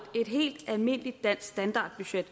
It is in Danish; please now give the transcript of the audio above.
et helt almindeligt dansk standardbudget